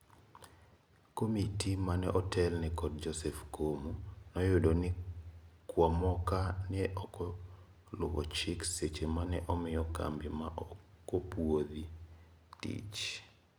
Komiti mane otelne kod Joseph Komu noyudo ni kwamoka ne okoluo chik seche mane omiyo kambi ma okopuodhi tich.